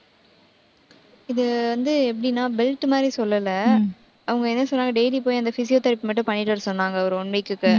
இது வந்து எப்படின்னா belt மாதிரி சொல்லல. அவங்க என்ன சொன்னாங்க, daily போய் அந்த physiotherapy மட்டும் பண்ணிட்டு வர சொன்னாங்க ஒரு one week க்கு